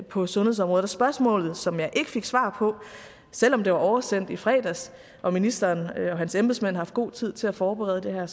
på sundhedsområdet spørgsmålet som jeg ikke fik svar på selv om det var oversendt i fredags og ministeren og hans embedsmænd har haft god tid til at forberede det her